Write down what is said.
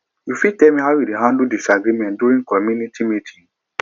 you fit tell me how you dey handle disagreement during community meeting